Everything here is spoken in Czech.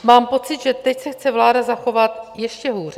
Mám pocit, že teď se chce vláda zachovat ještě hůře.